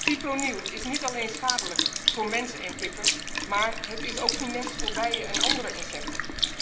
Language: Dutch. Fipronil is niet alleen schadelijk voor mensen en kippen, maar het is ook funest voor bijen en andere insecten.